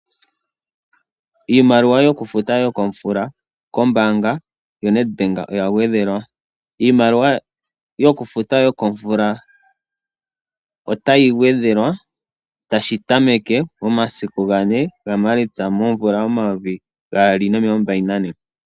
Iimaliwa yokufuta yo komvula kombaanga yo Nedbank oya gwedhelwa. Iimaliwa yoku futa yokomvula otayi gwedhelwa tashi tameke ,momasiku gane ga Maalitsa momvula yo mayovi gaali nomilongo mbali nane.